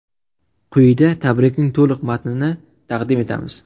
Quyida tabrikning to‘liq matnini taqdim etamiz.